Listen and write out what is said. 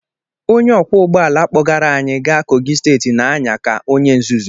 Onye ọkwọ ụgbọ ala kpọgara anyị gaa Kogi steeti na-anya ka onye nzuzu